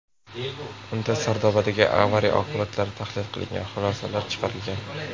Unda Sardobadagi avariya oqibatlari tahlil qilingan, xulosalar chiqarilgan.